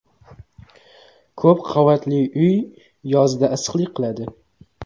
Ko‘p qavatli uy yozda issiqlik qiladi.